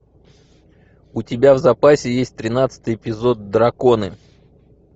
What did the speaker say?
у тебя в запасе есть тринадцатый эпизод драконы